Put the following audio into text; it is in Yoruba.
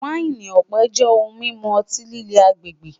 Waini ọpẹ jẹ ohun mimu ọti-lile agbegbe